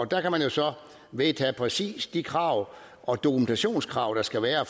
der kan man jo så vedtage præcis de krav og dokumentationskrav der skal være